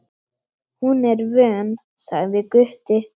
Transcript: Hún er vön, sagði Gutti.